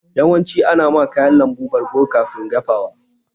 Yawanci ana ma kayan lambu bargo kafin dafawa.